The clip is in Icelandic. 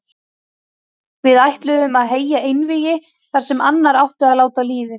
Við ætluðum að heyja einvígi þar sem annar átti að láta lífið.